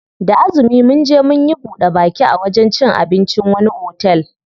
Da azumi munje munyi buɗe baki a wajen cin abincin wani otel.